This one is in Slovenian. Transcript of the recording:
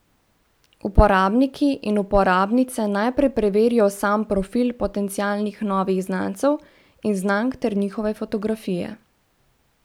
Uporabniki in uporabnice najprej preverijo sam profil potencialnih novih znancev in znank ter njihove fotografije.